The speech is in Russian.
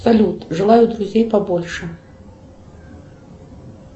салют желаю друзей побольше